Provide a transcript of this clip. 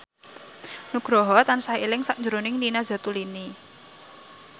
Nugroho tansah eling sakjroning Nina Zatulini